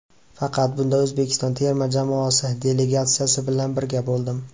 Faqat bunda O‘zbekiston terma jamoasi delegatsiyasi bilan birga bo‘ldim.